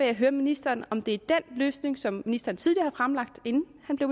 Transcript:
jeg høre ministeren om det er den løsning som han tidligere fremlagde inden han blev